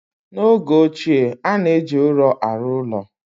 N'oge ochie, a na-eji ụrọ na-arụ ụlọ.